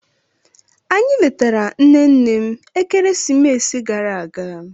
Anyị letara nne nne m ekeresimesi gara aga